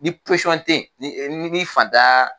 Ni ni e ni fataaa.